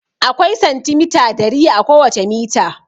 Akwai santimita dari a kowace mita.